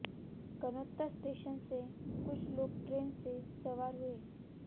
Gannaur station से कुछ लोग ट्रेन में सवार हुए